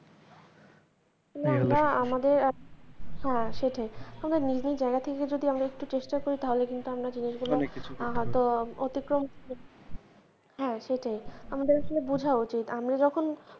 না আমরা আমাদের, হ্যাঁ সেটাই আমাদের নিজেদের জায়গা থেকে যদি আমরা একটু চেষ্টা করি তাহলে কিন্তু আমরা জিনিসগুলো অতিক্রম হ্যাঁ সেটাই আমাদেরকে বোঝা উচিৎ আমরা যখন,